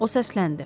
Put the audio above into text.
O səsləndi.